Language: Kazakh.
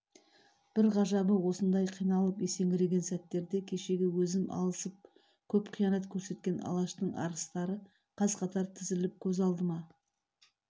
бір ғажабы осындай қиналып есеңгіреген сәттерде кешегі өзім алысып көп қиянат көрсеткен алаштың арыстары қаз-қатар тізіліп көз алдыма